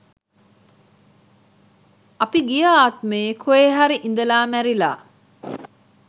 අපි ගිය ආත්මයේ කොහේ හරි ඉඳලා මැරිලා